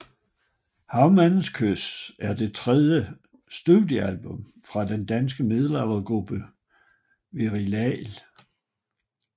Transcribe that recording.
Havmandens kys er det tredje studiealbum fra den danske middelaldergruppe Virelai